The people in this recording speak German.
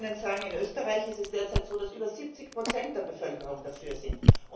Ich kann Ihnen sagen In Österreich ist es derzeit so, dass über 70 der Bevölkerung dafür sind.